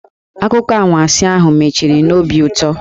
Akụkọ anwansi ahụ mechiri n'obi ụtọ.